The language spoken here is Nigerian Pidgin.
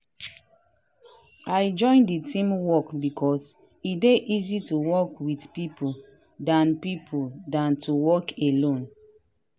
i join the team work because e dey easy to work with people dan people dan to work alone.